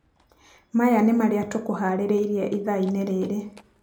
Maya nĩ marĩa tũkũharĩrĩirie ithaa-inĩ rĩrĩ